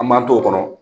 An m'an t'o kɔnɔ